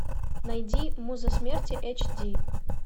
найди муза смерти эйч ди